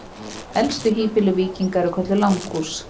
Elstu híbýli víkinga eru kölluð langhús.